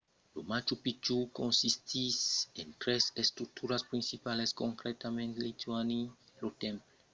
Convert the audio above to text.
lo machu picchu consistís en tres estructuras principalas concretament intihuatana lo temple del solelh e la cambra de las tres fenèstras